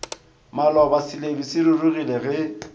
maloba seledu se rurugile ge